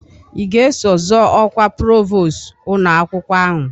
I ga-eso zọọ ọkwa provost ụnọakwkwọ ahụ?